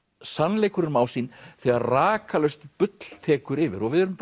sannleikurinn má sín þegar rakalaust bull tekur yfir og við erum